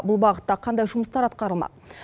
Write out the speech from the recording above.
бұл бағытта қандай жұмыстар атқарылмақ